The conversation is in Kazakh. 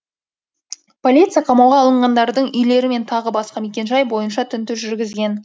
полиция қамауға алынғандардың үйлері мен тағы басқа мекенжай бойынша тінту жүргізген